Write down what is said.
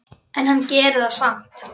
En hann gerir það samt.